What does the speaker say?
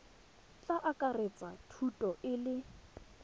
tla akaretsa thuto e le